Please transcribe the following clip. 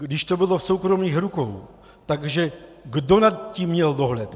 Když to bylo v soukromých rukou, tak kdo nad tím měl dohled?